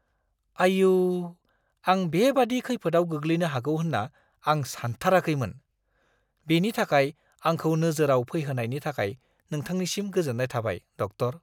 आइऔ! आं बेबादि खैफोदाव गोग्लैनो हागौ होन्ना आं सानथाराखैमोन। बेनि थाखाय आंखौ नोजोराव फैहोनायनि थाखाय नोंथांनिसिम गोजोन्नाय थाबाय, डक्टर।